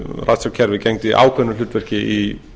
ratsjárkerfið gegni ákveðnu hlutverki í